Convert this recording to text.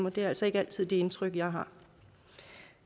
og det er altså ikke altid det indtryk jeg har